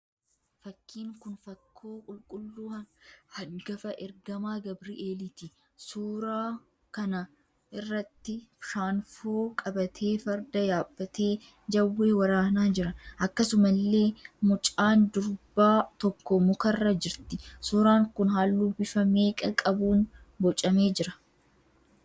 Fakkiin kun fakkoo qulqulluu hangafa ergamaa Gabireeliiti. Suuraa kana irratti shaanfoo qabatee Farda yaabbatee Jawwee waraanaa jira. Akkasumallee mucaan durbaa tokko mukarra jirti. Suuraan kun halluu bifa meeqa qabuun boocamee jira?